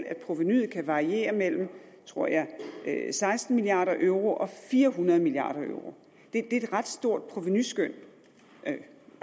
at provenuet kan variere mellem tror jeg seksten milliard euro og fire hundrede milliard euro det er en ret stor provenuskøn